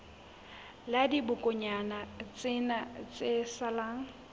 la dibokonyana tsena tse salang